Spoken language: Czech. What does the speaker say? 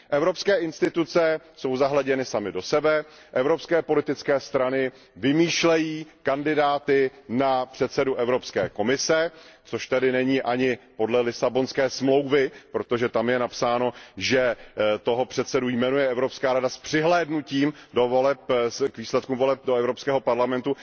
Evropské instituce jsou zahleděny samy do sebe, evropské politické stany vymýšlejí kandidáty na předsedu Evropské komise, což není ani podle Lisabonské smlouvy, protože tam je napsáno, že předsedu jmenuje Evropská rada s přihlédnutím k výsledkům voleb do Evropského parlamentu.